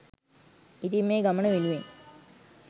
ඉතින් මේ ගමන වෙනුවෙන්